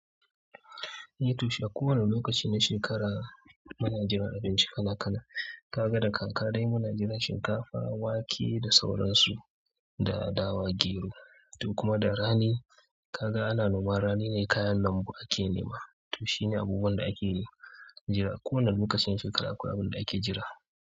Eh toh shi ako wane lokaci na shekara, muna jiran abinci kala kala kaga da kaka dai muna jiran shinkafa wake da sauransu da dawa gero, da kuma da rani kaga ana noman, rani ne kayan lambu ake nema. To shine abubuwan da ake jira. Ko wane lokacin shekara akwai abin da ake jira.